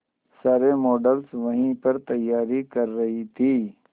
सारे मॉडल्स वहीं पर तैयारी कर रही थी